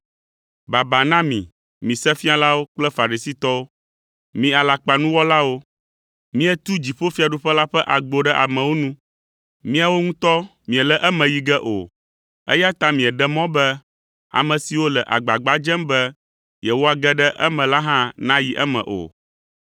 “Baba na mi, mi Sefialawo kple Farisitɔwo, mi alakpanuwɔlawo! Mietu dziƒofiaɖuƒe la ƒe agbo ɖe amewo nu. Miawo ŋutɔ miele eme yi ge o, eya ta mieɖe mɔ be ame siwo le agbagba dzem be yewoage ɖe eme la hã nayi eme o.